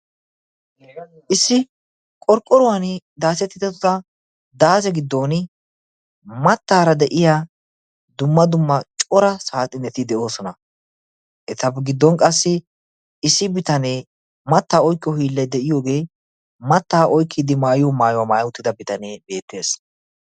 issi qorqqoruwan daasettida daaze giddon mattaara de'iya dumma dumma cora saaxi neti de'oosona etape giddon qassi issi bitanee mattaa oikkiyo hiillay de'iyoogee mattaa oykkiiddi maayuyo maayuwaa maaya uttida bitanee beettees